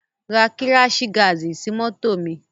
Ra kíráṣì gaàdì sí mọ́tò mi!